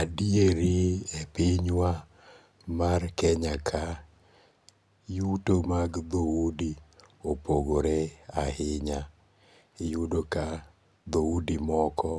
Adieri e pinywa mar Kenya ka yuto mag dho udi opogore ahinya, iyudo ka dho udi moko